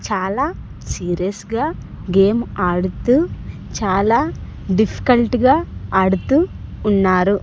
చాలా సీరియస్ గా గేమ్ ఆడుతూ చాలా డిఫికల్ట్ గా ఆడుతూ ఉన్నారు.